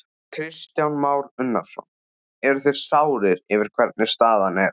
Kristján Már Unnarsson: Eruð þið sárir yfir hvernig staðan er?